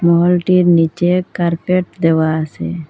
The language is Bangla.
মলটির নীচে কার্পেট দেওয়া আসে ।